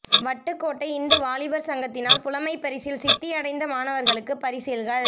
வட்டுக்கோட்டை இந்து வாலிபர் சங்கத்தினால் புலமைப்பரிசிலில் சித்தி அடைந்த மாணவர்களுக்கு பரிசில்கள்